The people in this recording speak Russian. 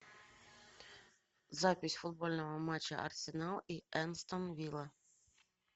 запись футбольного матча арсенал и астон вилла